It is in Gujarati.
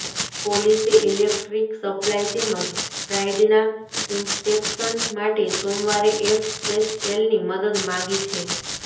પોલીસે ઈલેક્ટ્રિક સપ્લાય તેમજ રાઈડના ઈન્સ્પેક્શન માટે સોમવારે એફએસએલની મદદ માગી છે